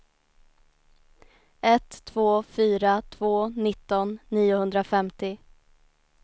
ett två fyra två nitton niohundrafemtio